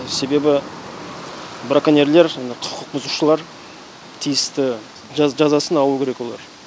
себебі браконьерлер және құқық бұзушылар тиісті жазасын алу керек олар